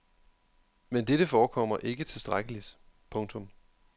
Men dette forekommer ikke tilstrækkeligt. punktum